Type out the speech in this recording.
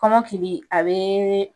Kɔnɔkiligi a bee